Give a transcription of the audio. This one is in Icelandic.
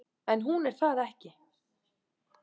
En hún er það ekki.